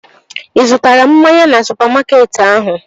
Ị zụtara mmanya na supamakeetị ahụ?